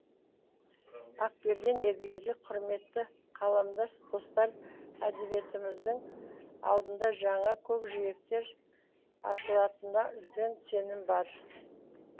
ақберен елгезек құрметті қаламдас достар әдебиетіміздің алдында жаңа көкжиектер ашылатынына үлкен сенім бар